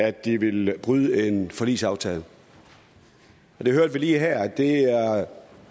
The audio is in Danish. at de vil bryde en forligsaftale vi hørte lige her at det er